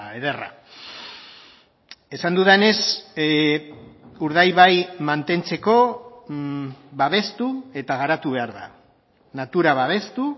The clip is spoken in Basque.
ederra esan dudanez urdaibai mantentzeko babestu eta garatu behar da natura babestu